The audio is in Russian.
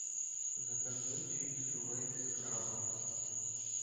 закажи чипсы лейс с крабом